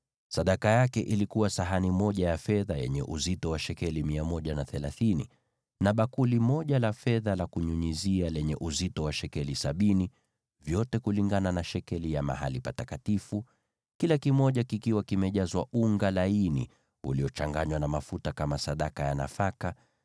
Sadaka aliyoleta ilikuwa sahani moja ya fedha yenye uzito wa shekeli 130, na bakuli moja la fedha la kunyunyizia lenye uzito wa shekeli sabini, vyote kulingana na shekeli ya mahali patakatifu, vikiwa vimejazwa unga laini uliochanganywa na mafuta kama sadaka ya nafaka;